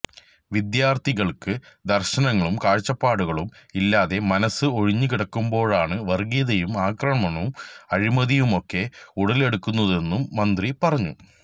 വിദ്യാർഥികൾക്ക് ദർശനങ്ങളും കാഴ്ചപ്പാടുകളും ഇല്ലാതെ മനസ്സ് ഒഴിഞ്ഞുകിടക്കുമ്പോഴാണ് വർഗീയതയും ആക്രമണവും അഴിമതിയുമൊക്കെ ഉടലെടുക്കുന്നതെന്നും മന്ത്രി പറഞ്ഞു